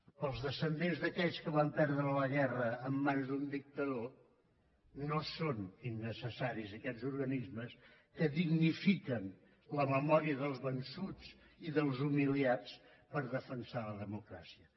per als descendents d’aquells que van perdre la guerra en mans d’un dictador no són innecessaris aquests organismes que dignifiquen la memòria dels vençuts i dels humiliats per defensar la democràcia